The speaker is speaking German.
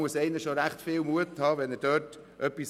Es braucht ziemlich viel Mut, dem zu widersprechen.